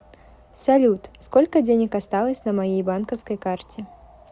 салют сколько денег осталось на моей банковской карте